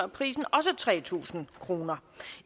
prisen også tre tusind kroner